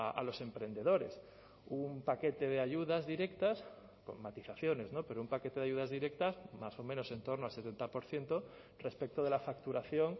a los emprendedores un paquete de ayudas directas con matizaciones pero un paquete de ayudas directas más o menos en torno al setenta por ciento respecto de la facturación